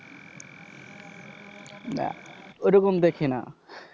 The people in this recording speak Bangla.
না, ওরকম দেখি না।